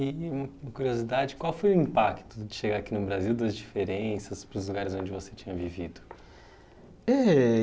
E uma curiosidade, qual foi o impacto de chegar aqui no Brasil, das diferenças para os lugares onde você tinha vivido? Eh